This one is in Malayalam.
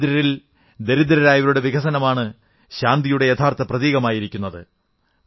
ദരിദ്രരിൽ ദരിദ്രരായവരുടെ വികസനമാണ് ശാന്തിയുടെ യഥാർഥ പ്രതീകമായിരിക്കുന്നത്